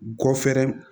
Gɔfɛrɛnew